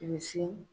Misi